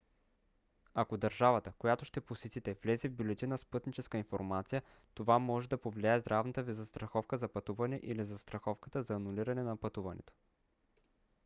ако държавата която ще посетите влезе в бюлетина с пътническа информация това може да повлияе здравната ви застраховка за пътуване или застраховката за анулиране на пътуването